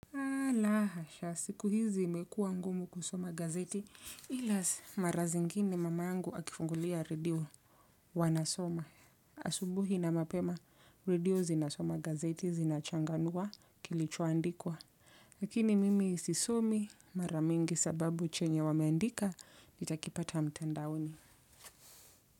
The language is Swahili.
Ah la hasha, siku hizi imekuwa ngumu kusoma gazeti, ila mara zingine mama yangu akifungulia redio huwa nasoma. Asubuhi na mapema, radio zinasoma gazeti zinachanganua kilichoandikwa. Lakini mimi sisisomi mara mingi sababu chenye wameandika, nitakipata mtandaoni.